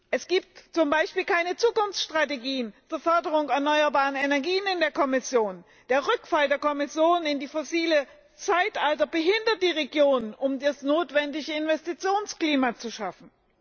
Es gibt zum Beispiel keine Zukunftsstrategien für die Förderung erneuerbarer Energie in der Kommission. Der Rückfall der Kommission in das fossile Zeitalter behindert die Regionen, um das notwendige Investitionsklima zu schaffen.